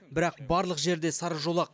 бірақ барлық жерде сары жолақ